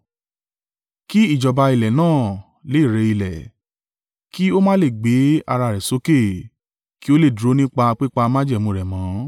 Kí ìjọba ilẹ̀ náà le rẹ ilẹ̀, kí ó má lè gbé ara rẹ̀ sókè, kí ó lè dúró nípa pípa májẹ̀mú rẹ̀ mọ́.